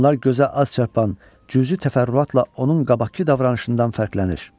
Bunlar gözə az çarpan cüzi təfərrüatla onun qabaqkı davranışından fərqlənir.